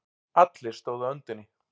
Allir stóðu á öndinni.